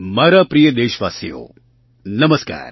મારા પ્રિય દેશવાસીઓ નમસ્કાર